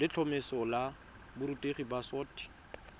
letlhomeso la borutegi la boset